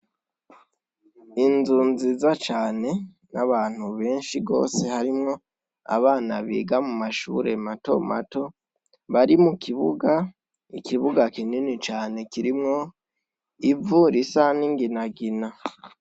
Inzu nziza cane n'abantu benshi gose, harimwo abana biga mu mashure mato mato bari mu kibuga. Ikibuga kinini cane kirimwo ivu risa n'ingina ngina.